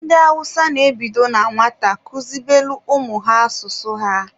Ndị Awụsa na-ebido na nwata kuzibelụ ụmụ ha asụsụ ha.